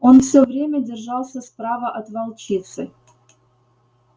он всё время держался справа от волчицы